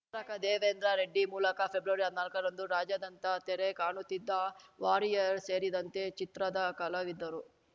ರಕ ದೇವೇಂದ್ರ ರೆಡ್ಡಿ ಮೂಲಕ ಫೆಬ್ರವರಿಹದ್ನಾಲ್ಕರಂದು ರಾಜ್ಯಾದಂತ ತೆರೆ ಕಾಣುತ್ತಿದ್ದ ವಾರಿಯರ್‌ ಸೇರಿದಂತೆ ಚಿತ್ರದ ಕಲಾವಿದರು